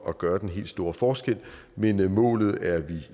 at gøre den helt store forskel men målet er vi